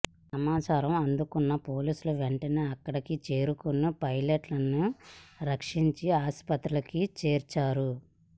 సమాచారం అందుకున్న పోలీసులు వెంటనే అక్కడికి చేరుకుని పైలట్ను రక్షించి ఆసుపత్రిలో చేర్పించారు